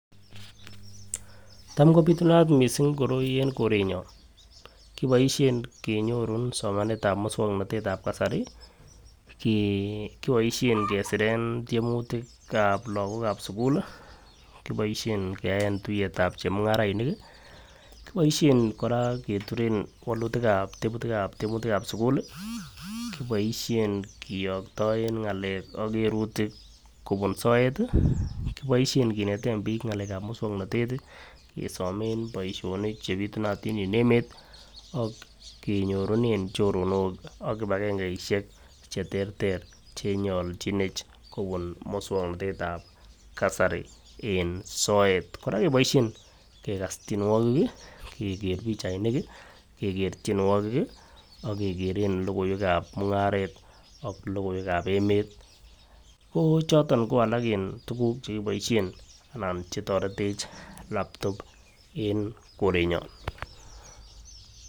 Tam kopitunat missing koroi en korenyon kiboishen kenyoru somenetab muswoknotet tab kasari kii kiboishen kesiren tyemutikab lokok ab sukuli , kiboishen kiyaen tuyetab chemungarainiki, kiboishen Koraa keturen wolutikab teputikab teputikap sukul lii kiboishen kiyoktoen ngalek ak kerutik kobur soeti kiboishen kineten bik ngalekab muswoknotet tii kesomen boishonik chepitunatin en emet ak kenyorunen choronok ak kipakengeishek cheterter chenyoljinech kobun muswoknotetab kasari en soet. Koraa keboishen kekas tyenuokik kii Keker pichainik kii, Keker tyenuokik, kii ak kekeren lokoiwek ab mungaret ak lokoiwek ab emet ko choton ko alak en tukuk chekiboishen anan chetoretech laptop en korenyon.